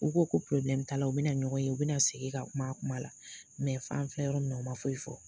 U ko ko t'ala u bɛna ɲɔgɔn ye u bɛna sigi ka kuma kuma la; fan filɛ yɔrɔ min' ma foyi fɔ.